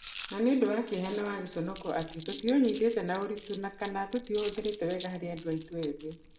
Na nĩ ũndũ wa kĩeha na wa giconoko atĩ tũtiũnyitĩte na ũritũ na/kana tũtiũhũthĩrĩte wega harĩ andũ aitũ ethĩ.